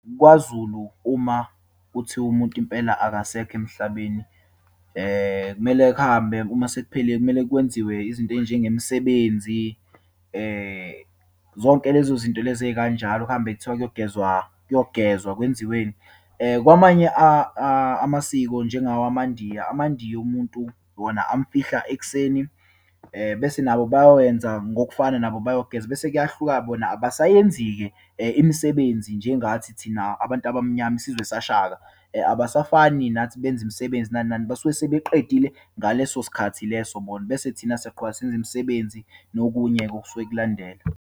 KwaZulu, uma kuthiwa umuntu impela akasekho emhlabeni, kumele kuhambe uma sekuphele, kumele kwenziwe izinto eyinjengemisebenzi. Zonke lezo zinto lezi eyikanjalo, kuhambe kuthiwa kuyogezwa, kuyogezwa, kwenziweni. Kwamanye amasiko, njengawamaNdiya, amaNdiya, umuntu wona amfihla ekuseni, bese nabo bayowenza ngokufana nabo, bayogeza. Bese kuyahluka, bona abasayenzi-ke imisebenzi njengathi thina abantu abamnyama, isizwe saShaka. Abasafani nathi benze imisebenzi, nani nani, basuke sebeqedile ngaleso sikhathi leso bona, bese thina siyaqhubeka senza imisebenzi, nokunye okusuke kulandela.